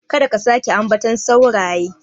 Kada ka sake ambaton sauraye.